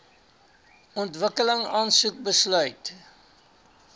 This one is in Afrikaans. ontwikkeling aansoek besluit